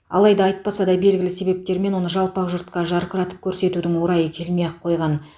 алайда айтпаса да белгілі себептермен оны жалпақ жұртқа жарқыратып көрсетудің орайы келмей ақ қойған